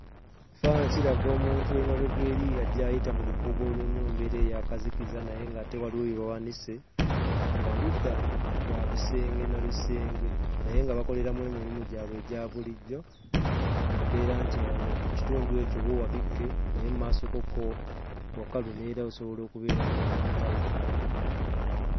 Ekifaananyi kiraga omuntu emabega eri ajja ayita mu lukuubo olulimu embeera ey'akazikiza naye ng'ate waliwo bye bawanise, ng'oludda lwa bisenge na bisenge naye nga bakoleramu emirimo gyabwe egya bulijjo mu mbeera nti awo kitundu ekyo wo wabikke naye mu maasokokko wakalu neera osobola okubeera ng'oyitawo.